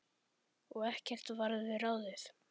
Og ekkert varð við ráðið.